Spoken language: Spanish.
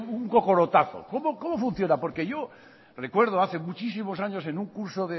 un cocorotazo cómo funciona porque yo recuerdo hace muchísimos años en un curso